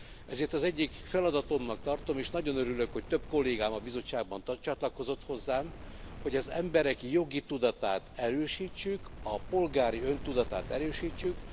Ezért az egyik feladatomnak tartom és nagyon örülök, hogy több kollégám a bizottságban csatlakozott hozzám, hogy az emberek jogi tudatát erősítsük, a polgári öntudatát erősítsük.